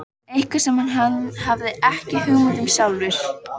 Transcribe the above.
Eitthvað sem hann hafði ekki hugmynd um sjálfur.